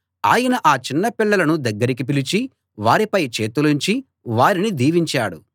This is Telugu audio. ఆయన ఆ చిన్నపిల్లలను దగ్గరికి పిలిచి వారిపై చేతులుంచి వారిని దీవించాడు